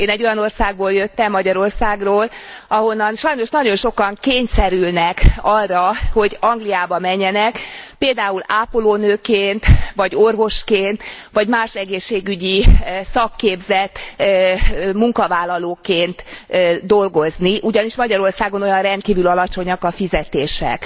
Én egy olyan országból jöttem, Magyarországról, ahonnan sajnos nagyon sokan kényszerülnek arra, hogy Angliába menjenek, például ápolónőként vagy orvosként, vagy más egészségügyi szakképzett munkavállalóként dolgozni, ugyanis Magyarországon rendkívül alacsonyak a fizetések.